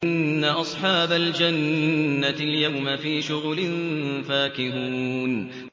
إِنَّ أَصْحَابَ الْجَنَّةِ الْيَوْمَ فِي شُغُلٍ فَاكِهُونَ